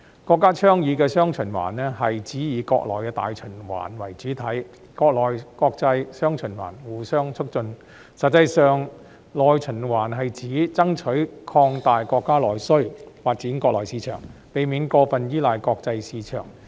國家倡議的"雙循環"，是指以國內大循環為主體、國內國際"雙循環"互相促進，實際上內循環是指爭取擴大國家內需，發展國內市場，避免過分依賴國際市場。